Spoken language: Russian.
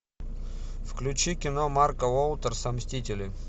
включи кино марка уотерса мстители